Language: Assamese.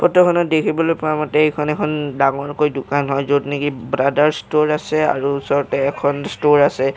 ফটোখনত দেখিবলৈ পোৱা মতে এইখন এখন ডাঙৰকৈ দোকান হয় য'ত নেকি ব্ৰাদাৰ্ছ ষ্ট'ৰ আছে আৰু ওচৰতে এখন ষ্ট'ৰ আছে।